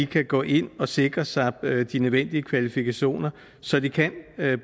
kan gå ind og sikre sig de nødvendige kvalifikationer så de kan